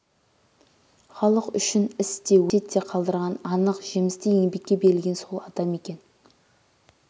халық үшін іс те өсиет те қалдырған анық жемісті еңбекке берілген сол адам екен